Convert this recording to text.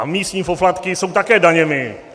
A místní poplatky jsou také daněmi.